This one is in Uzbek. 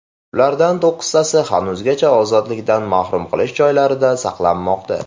Ulardan to‘qqiztasi hanuzgacha ozodlikdan mahrum qilish joylaridan saqlanmoqda.